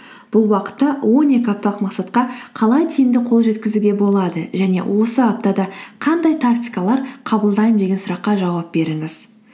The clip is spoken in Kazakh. бұл уақытта он екі апталық мақсатқа қалай тиімді қол жеткізуге болады және осы аптада қандай тактикалар қабылдаймын деген сұраққа жауап беріңіз